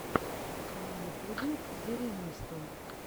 на ютубе зэремисто